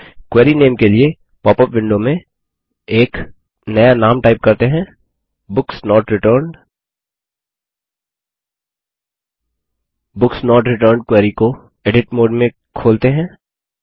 query नाम के लिए पॉपअप विंडो में एक नया नाम टाइप करते हैं books not returned books not returned query को एडिट मोड में खोलते हैं